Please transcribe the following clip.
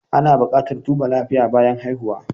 Ana buƙatar duba lafiya bayan haihuwa.